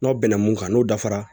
N'aw bɛnna mun kan n'o dafara